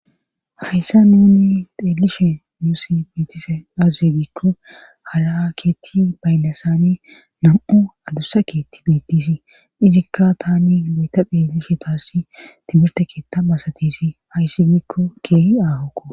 Hayssa nuni xeelishe yuusi bitise azze giikko hara keetti baynlasani nam'u adussa keetti biittisi izikka tani loyta xeellishe taassi timirte keetta masatisi hayssi giikko keehi aahokko.